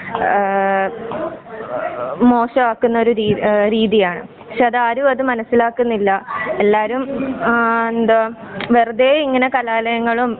ആ വാ വാ മോശമാക്കുന്നൊരു രീതിയാണ്. പക്ഷെ അത് ആരും മനസിലാക്കുന്നില്ല.എല്ലാരും ആ എന്താ വെറുതെ ഇങ്ങനെ കലാലയങ്ങളും